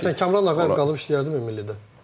Məsələn Kamranı məsələn qalıb işləyərdimmi millidə?